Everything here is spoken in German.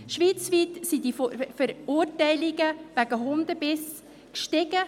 Schweizweit sind die Verurteilungen wegen Hundebissen gestiegen.